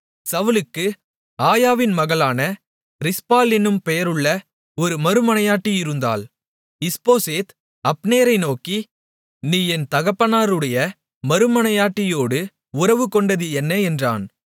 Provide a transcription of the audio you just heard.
சவுலுக்கு ஆயாவின் மகளான ரிஸ்பாள் என்னும் பெயருள்ள ஒரு மறுமனையாட்டி இருந்தாள் இஸ்போசேத் அப்னேரை நோக்கி நீ என் தகப்பனாருடைய மறுமனையாட்டியோடு உறவுகொண்டது என்ன என்றான்